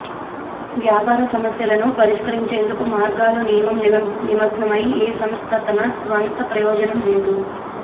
వ్యాపార సమస్యలను పరిష్కరించేందుకు మార్గాలు నియమం నిమగ్నమై ఏ సంస్థ తన స్వంత ప్రయోజనం లేదు